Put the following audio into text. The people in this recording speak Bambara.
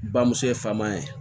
Bamuso ye faama ye